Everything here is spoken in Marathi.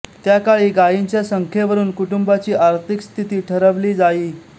त्याकाळी गायींच्या संख्येवरून कुटुंबाची आर्थिक स्थिती ठरवली जाई